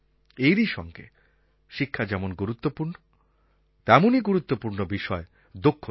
এরই সঙ্গে শিক্ষা যেমন গুরুত্বপূর্ণ তেমনই গুরুত্বপূর্ণ বিষয় দক্ষতা